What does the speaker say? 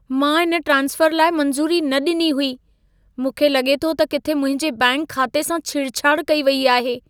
मां इन ट्रांस्फर लाइ मंज़ूरी न ॾिनी हुई। मूंखे लॻे थो त किथे मुंहिंजे बैंक खाते सां छेड़छाड़ कई वई आहे।